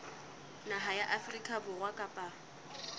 naha ya afrika borwa kapa